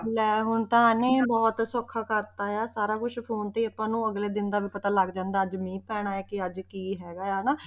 ਲੈ ਹੁਣ ਤਾਂ ਇਹਨੇ ਬਹੁਤ ਸੌਖਾ ਕਰ ਦਿੱਤਾ ਹੈ ਸਾਰਾ ਕੁਛ phone ਤੇ ਹੀ ਆਪਾਂ ਨੂੂੰ ਅਗਲੇ ਦਿਨ ਦਾ ਪਤਾ ਲੱਗ ਜਾਂਦਾ, ਅੱਜ ਮੀਂਹ ਪੈਣਾ ਕਿ ਅੱਜ ਕੀ ਹੈਗਾ ਹਨਾ,